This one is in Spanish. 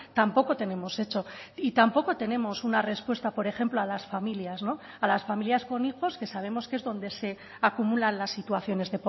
tampoco tenemos hecho y tampoco tenemos una respuesta por ejemplo a las familias a las familias con hijos que sabemos que es donde se acumulan las situaciones